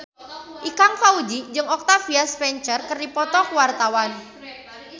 Ikang Fawzi jeung Octavia Spencer keur dipoto ku wartawan